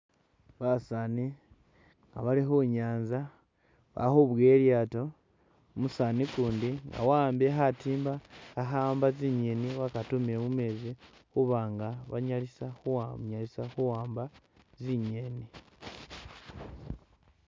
Basani nga bali khunyantsa bakhubowa ilyato umusani ukundi wa’ambile khatimba akhawamba tsi nyeni wakatumile mumetsi khubanga banyalisa khuwamba tsi nyeni